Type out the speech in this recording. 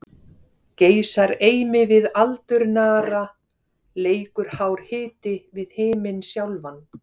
Geisar eimi við aldurnara, leikur hár hiti við himin sjálfan.